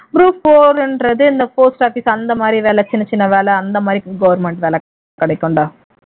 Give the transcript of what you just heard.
group four ன்றது இந்த post office அந்த மாதிரி வேலை சின்ன சின்ன வேலை அந்த மாதிரி government வேலை கிடைக்கும்டா